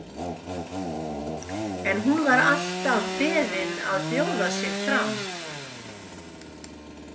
En hún var alltaf beðin að bjóða sig fram.